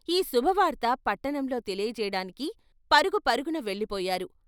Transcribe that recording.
ఈ శుభ వార్త పట్టణంలో తెలియచేయడానికి పరుగు పరుగున వెళ్ళిపోయారు.